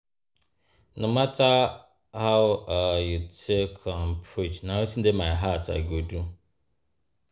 No mata how um you take um preach, na wetin dey my heart I go do.